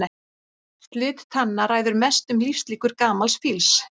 Slit tanna ræður mestu um lífslíkur gamals fíls.